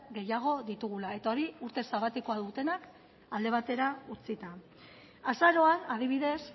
gehiago ditugula eta hori urte sabatikoa dutenak alde batera utzita azaroan adibidez